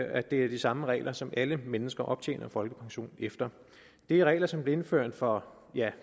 at det er de samme regler som alle mennesker optjener folkepension efter det er regler som blev indført for